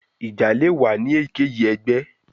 Ija le wa ni eyikeyi ẹgbẹ